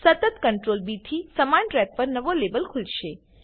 સતત CtrlB થી સમાન ટ્રેક પર નવા લેબલ ખુલશે